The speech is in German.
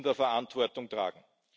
die Verantwortung tragen.